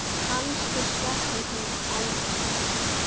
Kannski sleppur hún aldrei.